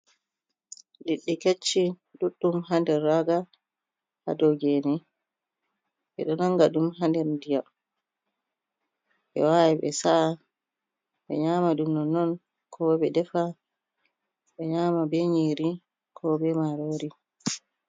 Liɗɗi kecci ɗuɗɗum ha nder raga ha dou geene ɓe ɗo nanga ɗum ha nder ndiya ɓe wawan ɓe saa ɓe nyama ɗum nonnon ko ɓe defa, ɓe nyama be nyiri ko be marori.